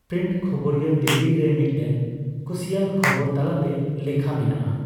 Print ᱠᱷᱚᱵᱚᱨᱤᱭᱟᱹ ᱫᱤᱞᱞᱤ ᱨᱮ ᱢᱤᱫᱴᱮᱱ ᱠᱩᱥᱤᱭᱟᱱ ᱠᱷᱚᱵᱚᱨ ᱛᱟᱞᱟᱛᱮ ᱞᱮᱠᱷᱟ ᱢᱮᱱᱟᱜᱼᱟ ᱾